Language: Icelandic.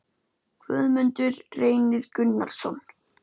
Guðmundur Reynir Gunnarsson